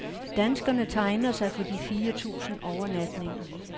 Danskerne tegner sig for de fire tusind overnatninger.